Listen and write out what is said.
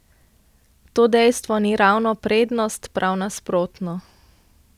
To dejstvo ni ravno prednost, prav nasprotno.